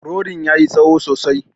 Rodin ya yi tsaho sosai.